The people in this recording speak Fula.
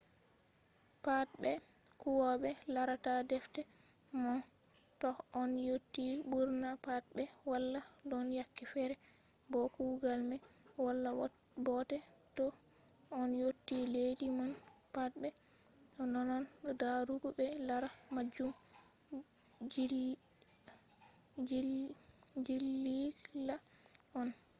patbe huwobe larata defte mon toh on yotti burna pat be wala don yake fere bo kugal mai wala bote to on yotti leddi mon patbe nonnon darugo be lara majum jigila on